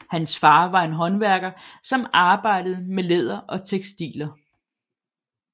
Hans far var en håndværker som arbejdede med læder og tekstiler